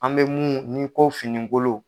An bɛ min ye ni ko fini kolon.